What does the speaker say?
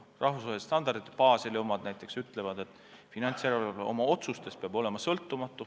Rahvusvahelised standardid – Baseli omad näiteks – ütlevad, et finantsjärelevalve peab oma otsustes olema sõltumatu.